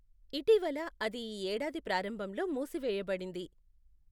ఇటీవల, అది ఈ ఏడాది ప్రారంభంలో మూసివేయబడింది.